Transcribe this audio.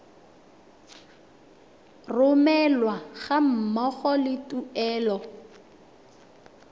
romelwa ga mmogo le tuelo